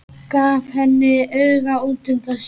Gaf henni auga útundan sér.